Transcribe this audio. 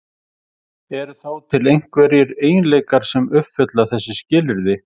Eru þá til einhverjir eiginleikar sem uppfylla þessi skilyrði?